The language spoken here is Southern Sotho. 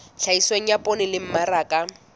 tlhahiso ya poone le mmaraka